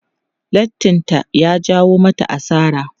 Lattin ta ya jawo mata asara.